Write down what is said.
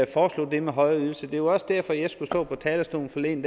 foreslår det med højere ydelse det var også derfor at jeg skulle stå på talerstolen forleden